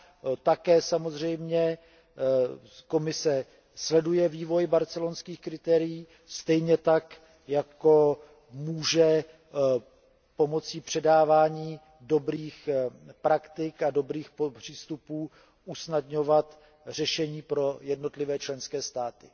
Komise také samozřejmě sleduje vývoj barcelonských kritérií, stejně tak jako může pomocí předávání dobrých praktik a dobrých přístupů usnadňovat řešení pro jednotlivé členské státy.